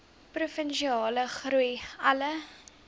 provinsiale groei alle